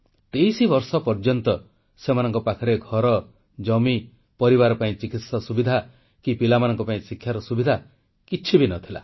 23 ବର୍ଷ ପର୍ଯ୍ୟନ୍ତ ସେମାନଙ୍କ ପାଖରେ ଘର ଜମି ପରିବାର ପାଇଁ ଚିକିତ୍ସା ସୁବିଧା କି ପିଲାମାନଙ୍କ ପାଇଁ ଶିକ୍ଷାର ସୁବିଧା କିଛି ବି ନ ଥିଲା